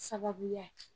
Sababuya ye